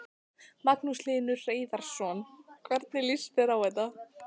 Magnús Hlynur Hreiðarsson: Hvernig líst þér á þetta?